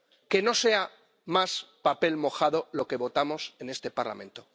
Que no sea más papel mojado lo que votamos en este Parlamento.